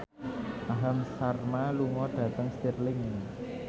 Aham Sharma lunga dhateng Stirling